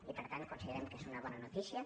i per tant considerem que és una bona notícia